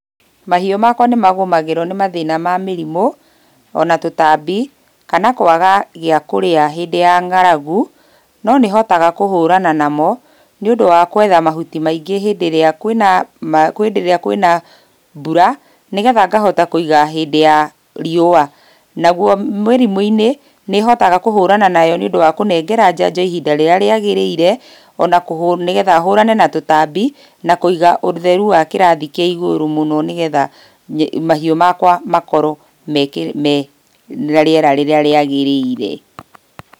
Mahiũ makwa nĩmagũmagĩrwo nĩ mathĩna ma mĩrimũ, ona tũtambi, kana kũaga gĩa kũrĩa hĩndĩ ya ng'aragu, no nĩhotaga kũhũrana namo, nĩũndũ wa gwetha mahuti maingĩ hĩndĩ ĩrĩa kwĩna hĩndĩ ĩrĩa kwĩna mbura, nĩgetha ngahota kũiga hĩndĩ ya riũa. Naguo mĩrimũ-inĩ, nĩhotaga kũhũrana nayo nĩũndũ wa kũnengera njanjo ihinda rĩrĩa rĩagĩrĩire, ona kũhũ nĩgetha hũrane na tũtambi, na kũiga ũtherũ wa kĩrathi kĩa igũrũ mũno nĩgetha, mahiũ makwa makorwo mena rĩera rĩrĩa rĩagĩrĩire.